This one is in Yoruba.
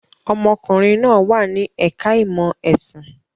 Ọmọkùnrin náà wà ní ẹ̀ka-ìmọ̀ ẹ̀sìn.